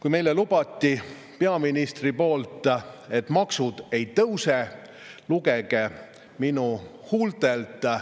Peaminister lubas meile, et maksud ei tõuse, lugege seda minu huultelt.